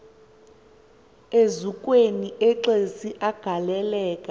eziukweni exesi agaleleka